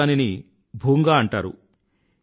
కచ్ లో దానిని భూంగా అంటారు